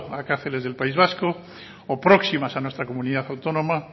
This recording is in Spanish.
a cárceles del país vasco o próximas a nuestra comunidad autónoma